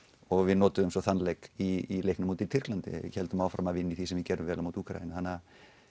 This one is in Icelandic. og við notuðum svo þann leik í leiknum úti í Tyrklandi við héldum áfram að vinna í því sem við gerðum vel á móti Úkraínu þannig